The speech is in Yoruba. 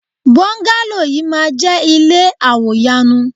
Bọ́ńgálò yìí máa jẹ́ ilé àwò yanu.